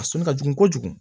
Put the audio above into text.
A sɔnni ka jugu kojugu